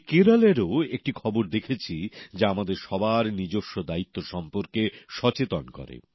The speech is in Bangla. আমি কেরলেরও একটি খবর দেখেছি যা আমাদের সবার নিজস্ব দায়িত্ব সম্পর্কে সচেতন করে